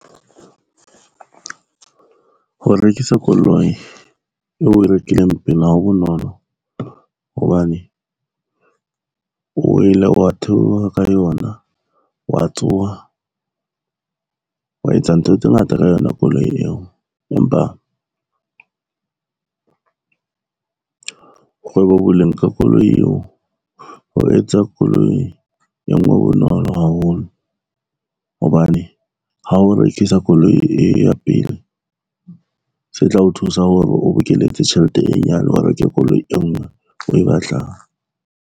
Ho rekisa koloi eo oe rekileng pele hao bonolo hobane, o ile wa theoha ka yona, wa tsoha, wa etsa ntho tse ngata ka yona koloi eo. Empa, boleng ka koloi eo ho etsa koloi e ngwe bonolo haholo hobane ha o rekisa koloi e ya pele, se tla o thusa hore o bokeletse tjhelete e nyane, o reke koloi e ngwe o e batlang.